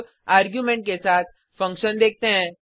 अब आर्गुमेंट के साथ फंक्शन देखते हैं